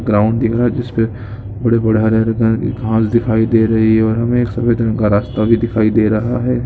Ground दिख रहा है जिस पर बड़े-बड़े हरे-हरे कलर के घास दिखाई दे रहे हैं और हमें एक सफेद रंग का रास्ता भी दिखाई दे रहा है।